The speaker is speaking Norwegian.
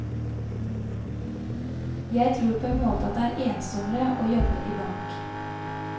Jeg tror på en måte at det er ensommere å jobbe i bank.